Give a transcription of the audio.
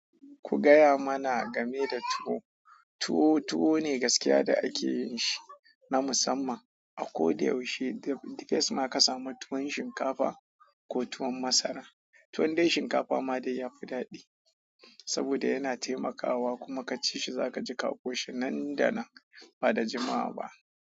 Ku gaya mana game da tuwo. Tuwo, tuwo ne gaskiya da ake yin shi na musamman a ko da yaushe. Duk da yace ma ka samu tuwon shinkafa ko tuwon masara, tuwon dai shinkafa ma dai ya fi daɗi saboda yana taimakawa kuma ka ci shi za ka ji ƙaho shi nan da nan ba da jimawa ba.